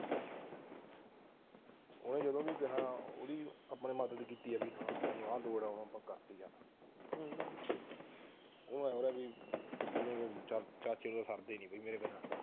ਉਹਨੇ ਜਦੋਂ ਵੀ ਕਿਹਾ ਉਹਦੀ ਮਦਦ ਕੀਤੀ ਹਾਂ ਬਾਈ ਮੈਨੂੰ ਆਹ ਲੋੜ ਐ ਹਮ ਉਹਦੇ ਮਨ ਚ ਸੀ ਕਿ ਸਰਦੇ ਨੀ ਮੇਰੇ ਬਿਨਾ